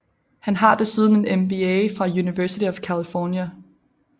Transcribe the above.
Han har desuden en MBA fra University of California